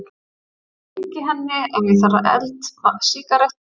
Ég hringi henni ef ég þarf eld, sígarettu, vatn. og þá kemur vörðurinn.